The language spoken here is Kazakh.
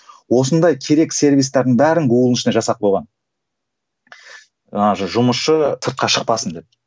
осындай керек сервистердің бәрін гуглдың ішіне жасап қойған ыыы жұмысшы сыртқа шықпасын деп